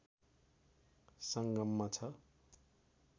संगममा छ